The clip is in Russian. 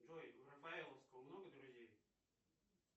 джой у рафаэловского много друзей